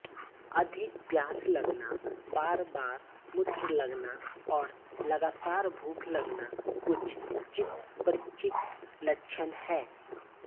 अधिक प्यास लगना बारबार मूत्र लगना और लगातार भूख लगना कुछ चितपरिचित लक्षण हैं